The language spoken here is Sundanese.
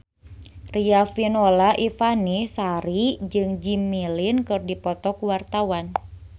Riafinola Ifani Sari jeung Jimmy Lin keur dipoto ku wartawan